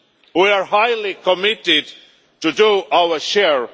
We are highly committed to doing our share.